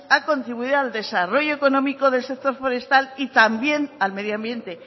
ha contribuido al desarrollo económico del sector forestal y también al medio ambiente